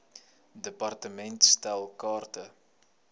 department stel kaarte